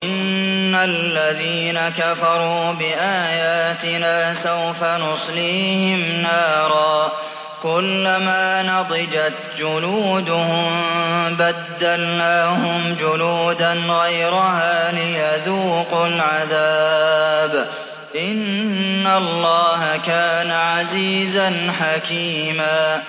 إِنَّ الَّذِينَ كَفَرُوا بِآيَاتِنَا سَوْفَ نُصْلِيهِمْ نَارًا كُلَّمَا نَضِجَتْ جُلُودُهُم بَدَّلْنَاهُمْ جُلُودًا غَيْرَهَا لِيَذُوقُوا الْعَذَابَ ۗ إِنَّ اللَّهَ كَانَ عَزِيزًا حَكِيمًا